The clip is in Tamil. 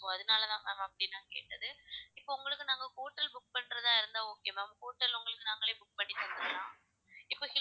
so அதனாலதான் ma'am அப்படி நான் கேட்டது இப்போ உங்களுக்கு நாங்க hotel book பண்றதா இருந்தா okay ma'am hotel உங்களுக்கு நாங்களே book பண்ணி தந்திடலாம் இப்ப hill